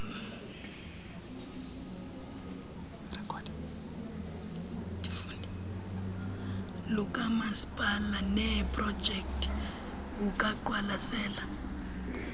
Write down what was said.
lukamasipala neeprojekthi bubaqwalasela